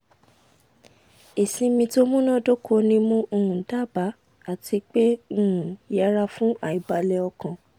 ìsinmi tó múná dóko ni mo um dábàá àti pé um yẹra fún àìbalẹ̀ um ọkàn